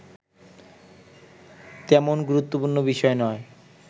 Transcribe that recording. তেমন গুরুত্বপুর্ণ বিষয় নয়